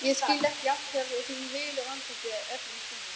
Ég skil ekki af hverju þú hylur andlitið öllum stundum.